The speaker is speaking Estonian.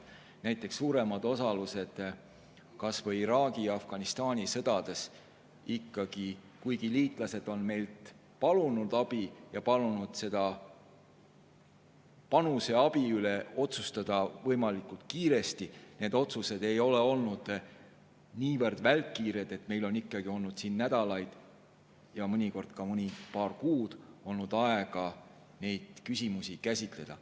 Näiteks suurema osaluse kas või Iraagi ja Afganistani sõdades – kuigi liitlased palusid meilt abi ja palusid selle abi panuse üle otsustada võimalikult kiiresti, siis need otsused ei olnud välkkiired, meil oli ikkagi nädalaid ja mõnikord ka paar kuud aega neid küsimusi käsitleda.